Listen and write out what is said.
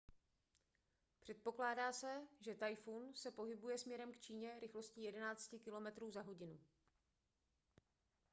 předpokládá se že tajfun se pohybuje směrem k číně rychlostí 11 km/h